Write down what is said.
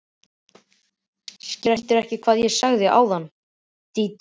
Skildirðu ekki hvað ég sagði áðan, Dídí mín?